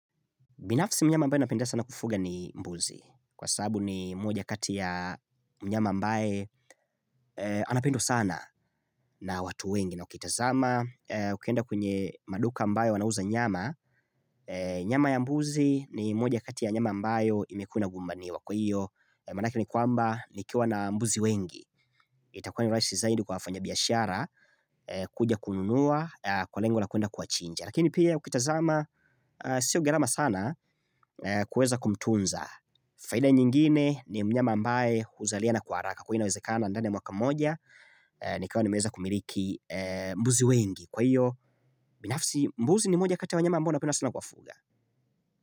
Binafsi mnyama ambaye napenda sana kufuga ni mbuzi. Kwa sababu ni mmoja kati ya mnyama ambae anapendwa sana na watu wengi. Na ukitazama, ukienda kwenye maduka ambayo wanauza nyama. Nyama ya mbuzi ni moja kati ya nyama ambayo imekuwa na gumbaniwa. Kwa hiyo, manake ni kwamba, nikiawa na mbuzi wengi. Itakuwa ni raisi zaidi kwa wafanya biyashara, kuja kununua, kwa lengo la kuenda kuwachinja. Lakini pia ukitazama sio garama sana kueza kumtunza Faida nyingine ni mnyama ambae huzaliana kwa haraka Kwa hiyo inawezekana ndani ya mwaka mmoja Nikawa nimeweza kumiliki mbuzi wengi Kwa hiyo mbuzi ni mmoja kati ya wanyama ambao napenda sana kuwafuga.